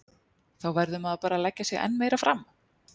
Þá verður maður bara að leggja sig enn meira fram.